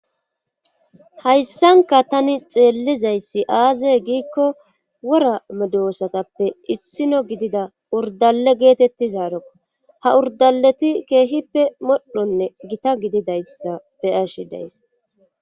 Hayssanka tani xeellizayssi aazey giikko wora medoosatappe issino gidida urdale geetetti zaarako ha urdaleti keehippe modhonne gita gididayssa be ashi days.